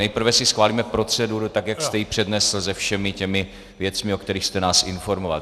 Nejprve si schválíme proceduru tak, jak jste ji přednesl se všemi těmi věcmi, o kterých jste nás informoval.